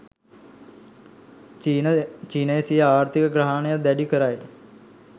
චීනය සිය ආර්ථික ග්‍රහණය දැඩි කරයි